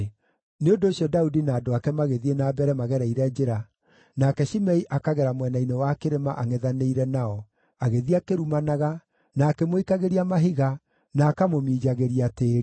Nĩ ũndũ ũcio Daudi na andũ ake magĩthiĩ na mbere magereire njĩra nake Shimei akagera mwena-inĩ wa kĩrĩma angʼethanĩire nao, agĩthiĩ akĩrumanaga, na akĩmũikagĩria mahiga, na akamũminjagĩria tĩĩri.